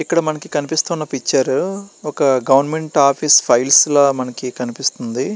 ఇక్కడ మనకి కనిపిస్తున్నా పిక్చర్ ఒక గవర్నమెంట్ ఆఫీస్ ఫైల్స్ ల మనకి కనిపిస్తుంది .